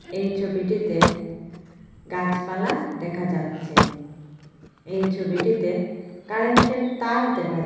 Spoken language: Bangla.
এই ছবিটিতে গাছপালা দেখা যাচ্ছে এই ছবিটিতে কারেন্টের তার দেখা--